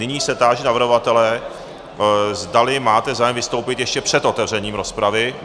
Nyní se táži navrhovatele, zdali máte zájem vystoupit ještě před otevřením rozpravy.